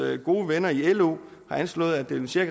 gode venner i lo har anslået at det vil